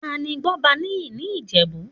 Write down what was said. Tani Gbọ́baníyì ní Ìjẹ̀bú?